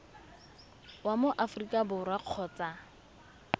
wa mo aforika borwa kgotsa